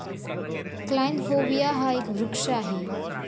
Kleinhovia हा एक वृक्ष आहे.